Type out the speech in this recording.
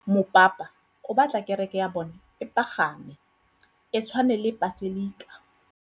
Mopapa o batla kereke ya bone e pagame, e tshwane le paselika.